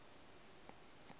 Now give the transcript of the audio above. a ka a ba le